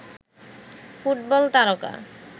football তারকা